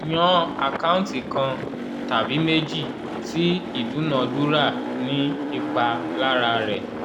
yan àkáǹtì kan (tàbí méjì) tí ìdúnadúrà ní ipa lára rẹ̀